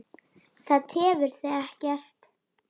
Það tefur þig ekkert.